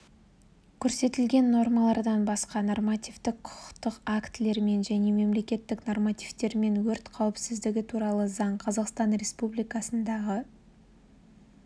көрсетілген нормалардан басқа нормативтік құқықтық актілермен және мемлекеттік нормативтермен өрт қауіпсіздігі туралы заң қазақстан республикасындағы